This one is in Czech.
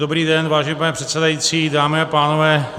Dobrý den, vážený pane předsedající, dámy a pánové.